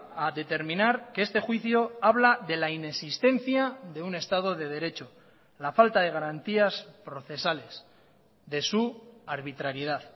a determinar que este juicio habla de la inexistencia de un estado de derecho la falta de garantías procesales de su arbitrariedad